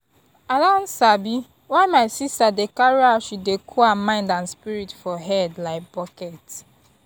i don sabi why my sister dey carry how she dey cool her mind and spirit for head like bucket.